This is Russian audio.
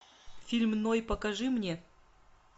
фильм ной покажи мне